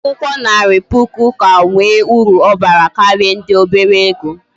Akwukwo Nari puku ka nwe uru obara karia ndi obere ego